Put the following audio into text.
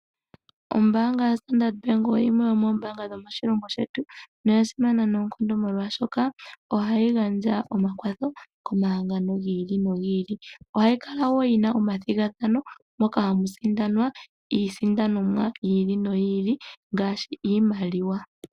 Ombaanga yaStandard bank oyo yimwe yomoombaanga moshilongo shetu, no ya simana noonkondo molwaashoka ohayi gandja omakwatho ko mahangano gi ili nogi ili. Ohayi kala woo yina omathigathano, mpoka ha mu sindanwa, iisindanomwa yi ili noyi ili, ngaashi iimaliwa.